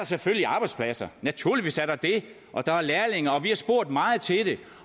selvfølgelig arbejdspladser naturligvis er der det og der er lærlinge vi har spurgt meget til det